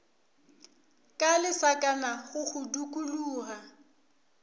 ka lesakana go go dukologa